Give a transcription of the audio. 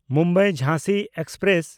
ᱢᱩᱢᱵᱟᱭ–ᱡᱷᱟᱸᱥᱤ express